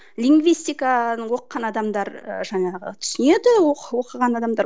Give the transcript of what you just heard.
лингистиканы оқыған адамдар ы жаңағы түсінеді оқыған адамдар